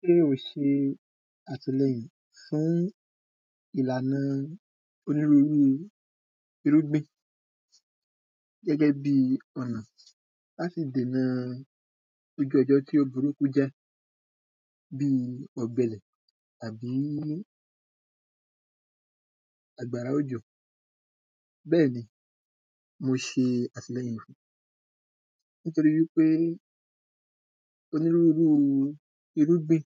kéyàn ṣe àtìlẹyìn fún ìlànà onírúúrú irúgbìn gẹ́gẹ́ bi ọnà láti dèna ojú ọjọ́ tí ó burúkú jẹ́ bí ọ̀gbẹlẹ̀ tàbí àgbàrá òjò bẹ́ẹ̀ni mo ṣe àtìlẹyìn fún nítorí wípé onírúurú irúgbìn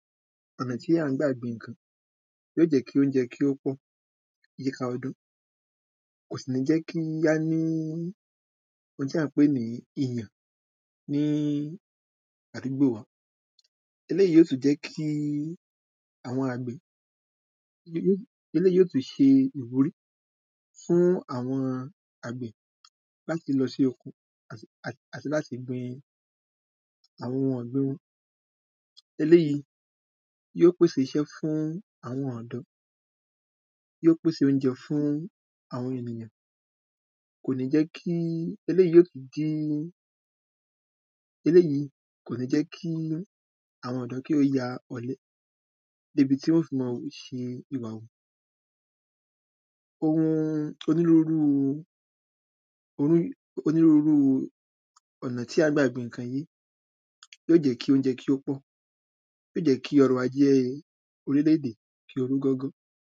ọ̀nà tí a gbà gbin ǹkan yóò jẹ́ kí óúnjẹ kí ó pọ̀ yíká ọdún kò sì ní jẹ́ kí á ní oun tí à ń pè ní iyàn ní àdúgbo wa eléyìí yóò tún jẹ́ kí àwọn àgbẹ̀, eléyìí yóò tún ṣe ìwúrí fún àwọn àgbẹ̀ láti lọ sí oko àti láti gbin àwọn ọ̀gbìn wọ́n eléyìí yóò pèse iṣẹ́ fún àwọn ọ̀dọ́ yóó pèse iṣẹ́ fún àwọn ènìyàn kò ní jẹ́ kí, eléyìí kò ní jẹ́ kí àwọn ọ̀dọ́ kí ó ya ọ̀le débi tí wọn yóò fi máa ṣìwà wù oun onírúurú, onírúurú ọ̀nà tí à ń gbà gbin ǹkan yìí yóò jẹ́ kí ọ̀nà kí ó pọ̀ yóò jẹ́ kí ọrọ̀ ajé orílẹ̀-èdè kí ó rú gọ́gọ́